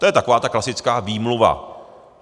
To je taková ta klasická výmluva.